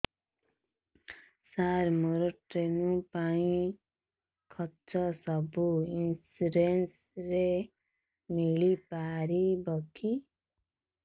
ସାର ମୋର ସ୍ଟୋନ ପାଇଁ ଖର୍ଚ୍ଚ ସବୁ ଇନ୍ସୁରେନ୍ସ ରେ ମିଳି ପାରିବ କି